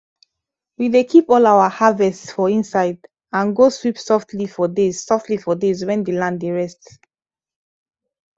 we dey keep all our harvest for inside and go sweep softly for days softly for days when the land dey rest